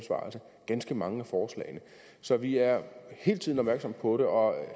ganske mange af forslagene så vi er hele tiden opmærksomme på det og